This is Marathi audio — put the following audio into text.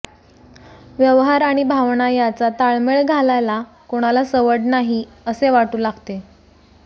व्यवहार आणि भावना याचा ताळमेळ घालायला कुणाला सवड नाही असे वाटू लागते